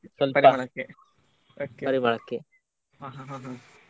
ಹಾ ಹಾ ಹಾ ಹಾ.